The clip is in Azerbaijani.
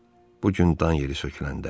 Bu gün dan yeri söküləndə.